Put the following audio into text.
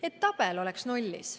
Et tabel oleks nullis.